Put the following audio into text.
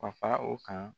Ka fara o kan